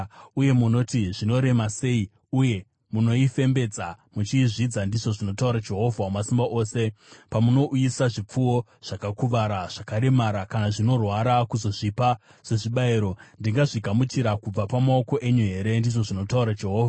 Uye munoti, ‘Zvinorema sei!’ uye munoifembedza muchiizvidza,” ndizvo zvinotaura Jehovha Wamasimba Ose. “Pamunouyisa zvipfuwo zvakakuvara, zvakaremara kana zvinorwara kuzozvipa sezvibayiro, ndingazvigamuchira kubva pamaoko enyu here?” ndizvo zvinotaura Jehovha.